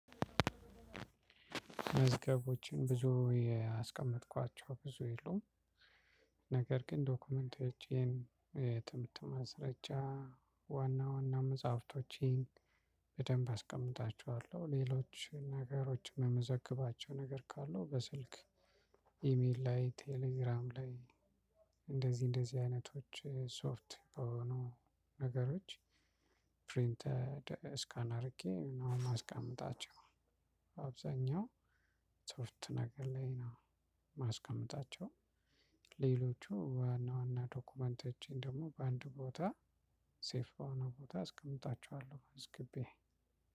መዝገቦችን ብዙ ያስቀመጥኳቸው ብዙ የሉም። ነገር ግን ዶክመንቶቼን ትምህርት ማስረጃ ዋና ዋና መጽሐፍቶቼን በደንብ አስቀምጣቸዋለሁ። ሌሎችን ነገሮችን የምመዘግባቸው ነገር ካለው በስልክ ኢሜል ላይ ቴሌግራም ላይ እንደዚህ እንደዚህ አይነቶች ሶፍት በሆኑ ነገሮች። ፕሪንት ስካን አድርጌ ነው የማስቀምጣቸው። አብዛኛው ሶፍት ነገር ላይ ነው የማስቀመጣቸው። ሌሎቹ ዋና ዋና ዶክመንተችን ደግሞ በአንድ ቦታ ሴፍ በሆነ ቦታ አስቀምጣቸዋለሁ። መዝግቤ